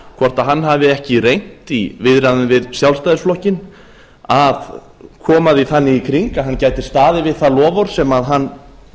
hvort hann hafi ekki reynt í viðræðum við sjálfstæðisflokkinn að koma því þannig í kring að hann gæti staðið við það loforð sem hann